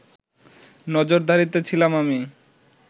নজরদারিতে ছিলাম আমি